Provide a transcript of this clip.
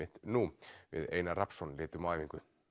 nú við Einar Rafnsson litum á æfingu